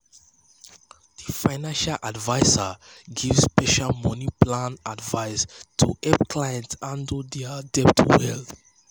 di financial adviser give special money plan advice to help clients handle dir debt well.